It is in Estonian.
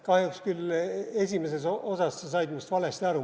Kahjuks küll esimeses osas sa said minust valesti aru.